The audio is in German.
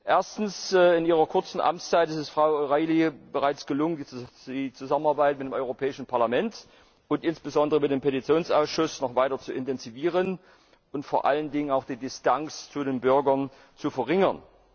Erstens In ihrer kurzen Amtszeit ist es Frau O'Reilly bereits gelungen, die Zusammenarbeit mit dem Europäischen Parlament und insbesondere mit dem Petitionsausschuss noch weiter zu intensivieren und vor allen Dingen auch die Distanz zu den Bürger zu verringern.